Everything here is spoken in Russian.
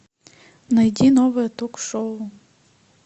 найди новое ток шоу